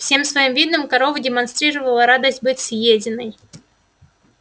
всем своим видом корова демонстрировала радость быть съеденной